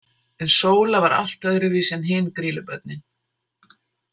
En Sóla var allt öðru vísi en hin Grýlubörnin.